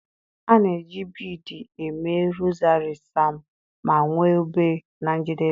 A na-eji biidii mee rozari Sam ma nwee obe na njedebe.